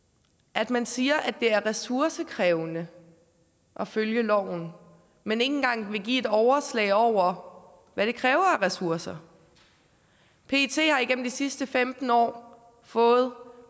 at man siger at det er ressourcekrævende at følge loven men ikke engang vil give et overslag over hvad det kræver af ressourcer pet har igennem de sidste femten år fået